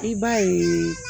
I b'a ye